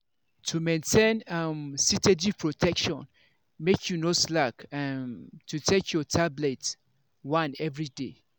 to maintain um steady protection make you no slack um to take your tablet. one everyday.